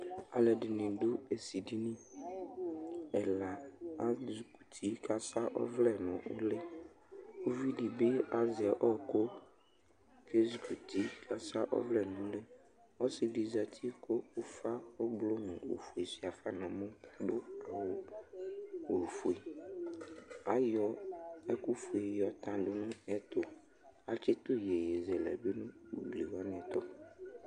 Alu eɖɩnɩ ɖʊ ésɩɖɩnɩ Ɛla ézukʊtɩ ƙasa ɔvle ŋʊli Ʊʋɩɖɩbɩ azɛ ɔƙʊ ƙézukʊti ƙasʊa ɔvlɛ ŋutɩ Ɔsɩɖɩbɩ zatɩ ƙʊ ʊƒa ʊblʊ ŋʊ ofoé suafa nʊ ɛmɔ ŋʊ ofoé Aƴɔ eƙuƒoé ƴɔƙɔ ŋu ɛtʊ Aƙétʊ ƴéƴé zɛlɛ nʊ ʊglɩwani ɛtʊ